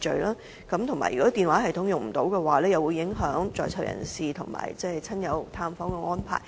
除此以外，如果電話系統不能使用的話，便會影響在囚人士親友探訪的安排。